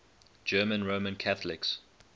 german roman catholics